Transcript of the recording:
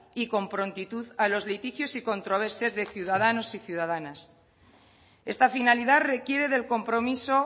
y con prontitud a los litigios y controversias de ciudadanos y ciudadanas esta finalidad requiere del compromiso